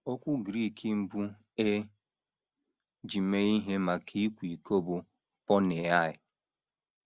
Okwu Grik mbụ e ji mee ihe maka ịkwa iko bụ por·neiʹa.